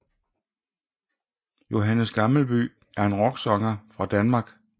Johannes Gammelby er en rocksanger fra Danmark